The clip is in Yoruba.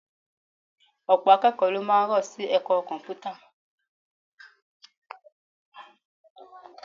Ọ̀pọ̀ akẹ́kọ̀ọ́ ló máa rọ́ sí ẹ̀kọ́ Kọ̀m̀pútà